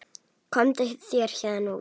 Komdu þér héðan út.